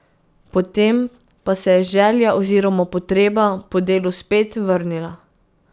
Potem pa se je želja oziroma potreba po delu spet vrnila.